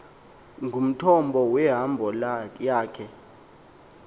ngumthombo wehambo yakhe